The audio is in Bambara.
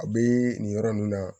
A bɛ nin yɔrɔ ninnu na